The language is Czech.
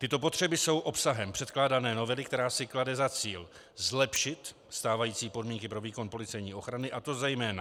Tyto potřeby jsou obsahem předkládané novely, která si klade za cíl zlepšit stávající podmínky pro výkon policejní ochrany, a to zejména